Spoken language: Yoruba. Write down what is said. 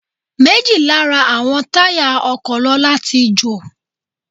Méjì Lára àwọn táyà ọkọ̀ lọ́la tí jo ò.